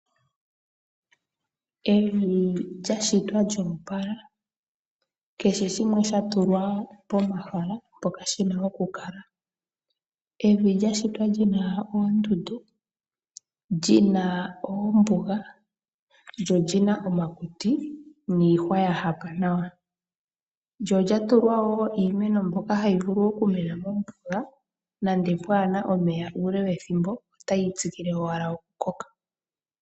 Evi lya shitwa lyo opala, kehe shimwe sha tulwa pomahala mpoka shi na okukala. Evi lya shitwa li na oondundu, li na oombuga, lyo oli na omakuti niihwa ya hapa nawa. Lyo lya tulwa wo iimeno mbyoka hayi vulu okumena mombuga nande pwaa na omeya uule wethimbo, otayi tsikile owala okukoka.